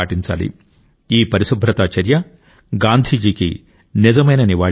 ఈ పరిశుభ్రత చర్య గాంధీజీకి నిజమైన నివాళి అవుతుంది